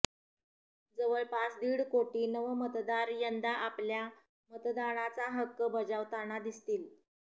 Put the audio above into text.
जवळपास दीड कोटी नवमतदार यंदा आपल्या मतदानाचा हक्क बजावताना दिसतील